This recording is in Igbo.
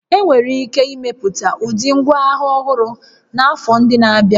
Enwere ike imepụta ụdị ngwaagha ọhụrụ n'afọ ndị na-abịa